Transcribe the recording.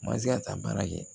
Ma se ka taa baara kɛ